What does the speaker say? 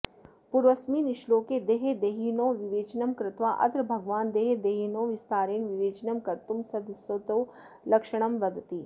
पूर्वस्मिन् श्लोके देहदेहिनोः विवेचनं कृत्वा अत्र भगवान् देहदेहिनोः विस्तारेण विवेचनं कर्तुं सदसतोः लक्षणं वदति